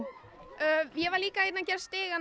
ég var líka að gera stigann